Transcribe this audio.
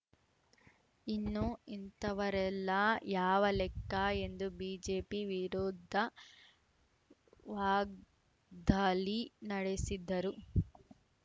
ಇನ್ನು ಇಂಥವರೆಲ್ಲಾ ಯಾವ ಲೆಕ್ಕ ಎಂದು ಬಿಜೆಪಿ ವಿರುದ್ಧ ವಾಗ್ದಾಲಿ ನಡೆಸಿದ್ದರು